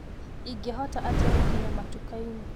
ingĩhota atĩa gũkinya matukainĩ